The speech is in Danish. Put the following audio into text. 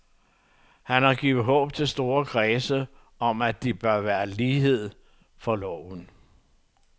Han har givet håb til store kredse om, at der bør være lighed for loven.